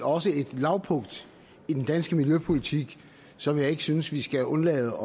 også et lavpunkt i den danske miljøpolitik som jeg ikke synes vi skal undlade